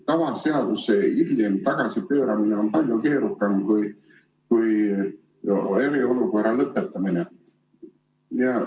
Tavaseaduse hiljem tagasipööramine on palju keerukam kui eriolukorra lõpetamine.